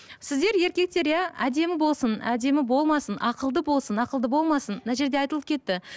сіздер еркектер иә әдемі болсын әдемі болмасын ақылды болсын ақылды болмасын мына жерде айтылып кетті